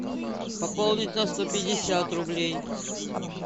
пополнить на сто пятьдесят рублей